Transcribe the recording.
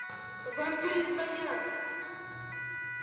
вам перезвонят